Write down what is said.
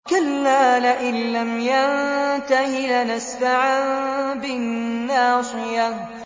كَلَّا لَئِن لَّمْ يَنتَهِ لَنَسْفَعًا بِالنَّاصِيَةِ